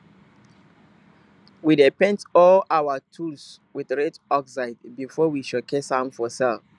we dey paint all our tools wit red oxide before we showcase am for sell